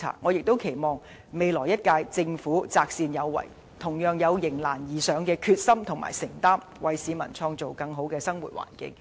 我亦期望未來一屆政府擇善有為，同樣有迎難而上的決心和承擔，為市民創造更好的生活環境。